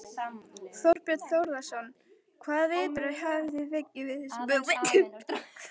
Þorbjörn Þórðarson: Hvaða viðbrögð hafið þið fengið við þessum hugmyndum?